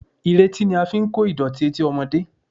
Ìretí ni a fi ń kó ìdọ̀tí etí ọmọdé